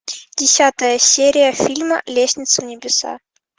десятая серия фильма лестница в небеса